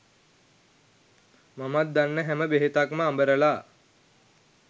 මම දන්න හැම බෙහෙතක්ම අඹරලා